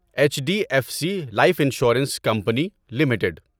H D F C life insurance company limited